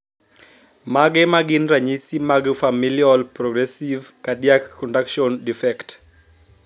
Mage magin ranyisi mag Familial progressive cardiac conduction defect